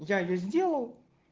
я её сделал